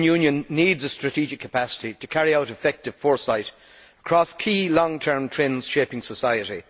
The European Union needs a strategic capacity to carry out effective foresight across key long term trends shaping society.